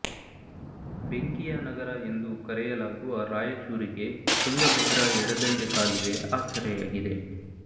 ಬೆಂಕಿಯ ನಗರ ಎಂದು ಕರೆಯಲಾಗುವ ರಾಯಚೂರಿಗೆ ತುಂಗಭದ್ರಾ ಎಡದಂಡೆ ಕಾಲುವೆ ಆಸರೆಯಾಗಿದೆ